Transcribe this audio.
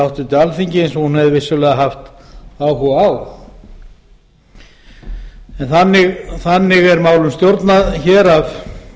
háttvirtu alþingi eins og hún hefði vissulega haft áhuga á þannig er málum stjórnað hér að